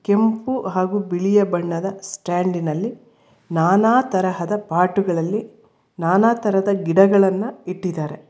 ಕೆಂಪು ಹಾಗು ಬಿಳಿಯ ಬಣ್ಣದ ಸ್ಟ್ಯಾಂಡಿ ನಲ್ಲಿ ನಾನಾ ತರಹದ ಪಾಟುಗಳಲ್ಲಿ ನಾನಾತರದ ಗಿಡಗಳನ್ನ ಇಟ್ಟಿದ್ದಾರೆ.